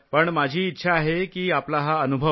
पण माझी इच्छा आहे की आपला हा अनुभव